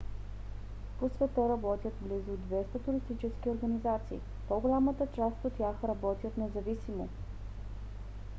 по света работят близо 200 туристически организации. по-голямата част от тях работят независимо